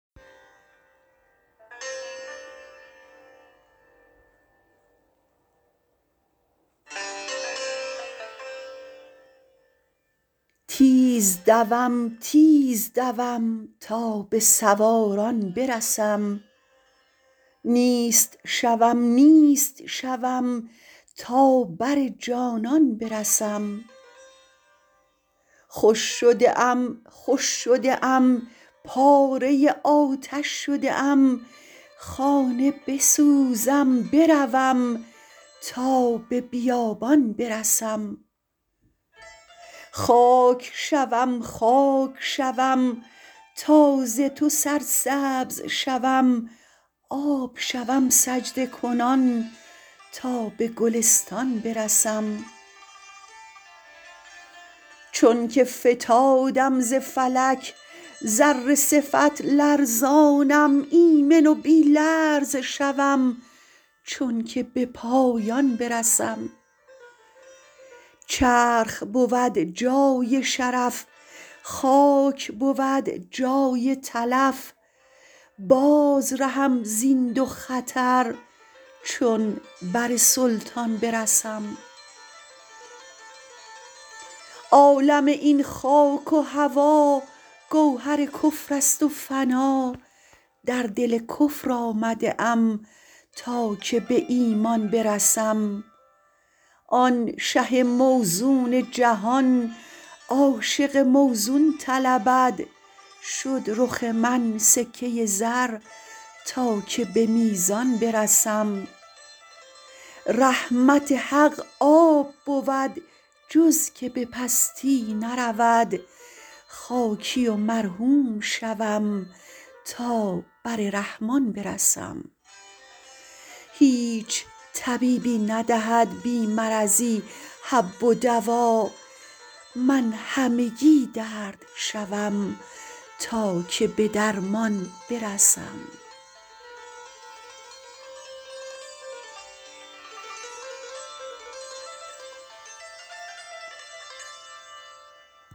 تیز دوم تیز دوم تا به سواران برسم نیست شوم نیست شوم تا بر جانان برسم خوش شده ام خوش شده ام پاره آتش شده ام خانه بسوزم بروم تا به بیابان برسم خاک شوم خاک شوم تا ز تو سرسبز شوم آب شوم سجده کنان تا به گلستان برسم چونک فتادم ز فلک ذره صفت لرزانم ایمن و بی لرز شوم چونک به پایان برسم چرخ بود جای شرف خاک بود جای تلف باز رهم زین دو خطر چون بر سلطان برسم عالم این خاک و هوا گوهر کفر است و فنا در دل کفر آمده ام تا که به ایمان برسم آن شه موزون جهان عاشق موزون طلبد شد رخ من سکه زر تا که به میزان برسم رحمت حق آب بود جز که به پستی نرود خاکی و مرحوم شوم تا بر رحمان برسم هیچ طبیبی ندهد بی مرضی حب و دوا من همگی درد شوم تا که به درمان برسم